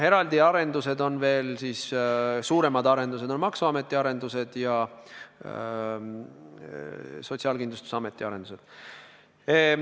Eraldi suuremad arendused on veel maksuameti arendused ja Sotsiaalkindlustusameti arendused.